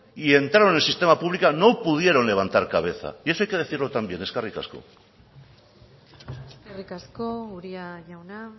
y entraron en el sistema público no pudieron levantar cabeza y eso hay que decirlo también eskerrik asko eskerrik asko uria jauna